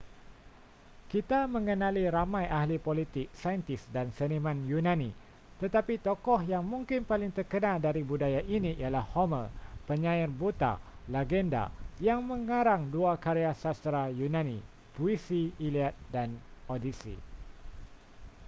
kita mengenali ramai ahli politik saintis dan seniman yunani tetapi tokoh yang mungkin paling terkenal dari budaya ini ialah homer penyair buta legenda yang mengarang dua karya sastera yunani puisi iliad dan odyssey